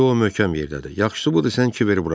İndi o möhkəm yerdədir, yaxşısı budur sən Kiberi burax.